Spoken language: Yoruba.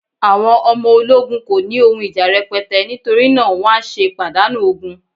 àwọn ọmọ ologun ko ni oun ija rẹpẹtẹ, nitori na ni wan se padanu ogun